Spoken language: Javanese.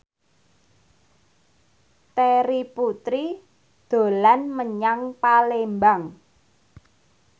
Terry Putri dolan menyang Palembang